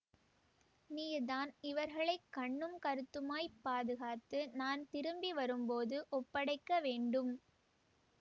நீர்தான் இவர்களைக் கண்ணும் கருத்துமாய்ப் பாதுகாத்து நான் திரும்பி வரும் போது ஒப்படைக்க வேண்டும்